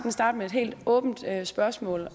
starte med et helt åbent spørgsmål